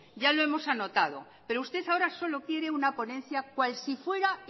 ya lo hemos anotado pero usted ahora solo quiere una ponencia cual si fuera